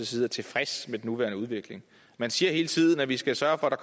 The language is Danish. side er tilfreds med den nuværende udvikling man siger hele tiden at vi skal sørge for at der